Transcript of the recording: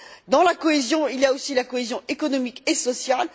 Dans la cohésion, il y a aussi la cohésion économique et sociale.